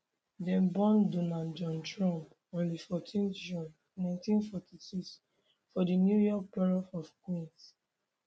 dem born donald john trump on 14 june 1946 for di new york borough of queens